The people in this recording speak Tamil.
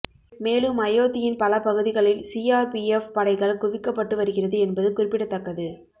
மேலும் அயோத்தியின் பல பகுதிகளில் சிஆர்பிஎஃப் படைகள் குவிக்கப்பட்டு வருகிறது என்பதும் குறிப்பிடத்தக்கது